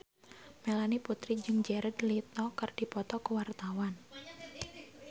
Melanie Putri jeung Jared Leto keur dipoto ku wartawan